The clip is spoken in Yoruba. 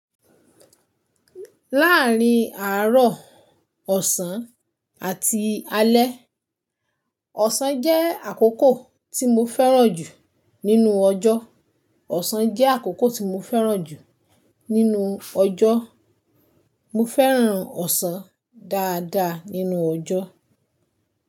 Láàárín àárọ̀, ọ̀sán, àti alẹ́, ọ̀sán jẹ́ àkókò tí mo fẹ́ràn jù nínú ọjọ́. Ọ̀sán jẹ́ àkókò tí mo fẹ́ràn jù nínú ọjọ́. Mo fẹ́ràn ọ̀sán dáadáa nínú ọjọ́.